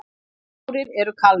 Fjórir eru kalnir